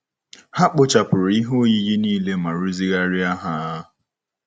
Ha kpochapụrụ ihe oyiyi niile ma rụzigharịa ya.